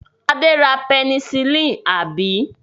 Adé ra pẹnisílínì, àbí?